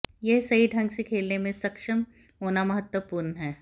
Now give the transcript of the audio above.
यह सही ढंग से खेलने में सक्षम होना महत्वपूर्ण है